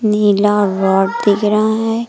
नीला rod दिख रहा है।